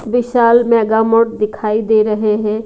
विशाल मेगामोट दिखाई दे रहे हैं।